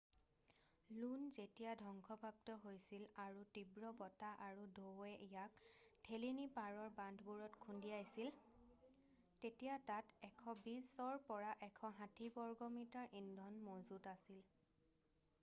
ল্যুন' যেতিয়া ধংসপ্ৰাপ্ত হৈছিল আৰু তীব্ৰ বতাহ আৰু ঢৌৱে ইয়াক ঠেলি নি পাৰৰ বান্ধবোৰত খুন্দিয়াইছিল তেতিয়া তাত 120-160 বৰ্গমিটাৰ ইন্ধন মজুত আছিল